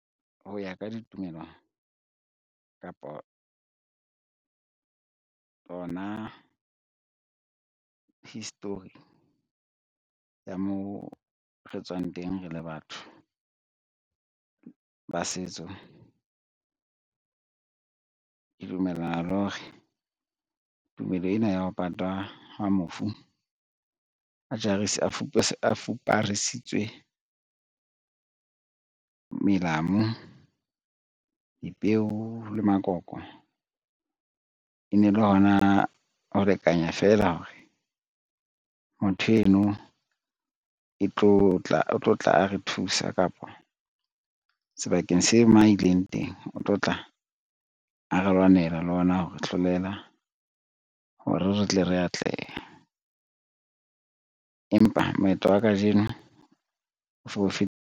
Ho ya ka ditumelong kapa tsona history ya moo re tswang teng, re le batho ba setso. Ke dumellana le hore tumelo ena ya ho patwa hwa mofu a fuparisitswe, melamu, dipeo le makoko, e ne le hona ho lekanya feela hore motho eno o tlo tla a re thusa kapa sebakeng se ma ileng teng o tlo tla a re lwanela le ona hore hlolela hore re tle re atleha, empa moetlo wa kajeno o .